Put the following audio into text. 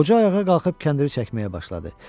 Qoca ayağa qalxıb kəndiri çəkməyə başladı.